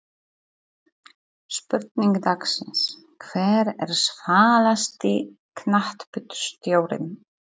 Spurning dagsins: Hver er svalasti knattspyrnustjórinn?